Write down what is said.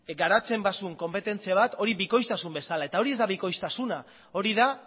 garatzen bazuen konpetentzia bat hori bikoiztasun bezala eta hori ez da bikoiztasuna hori da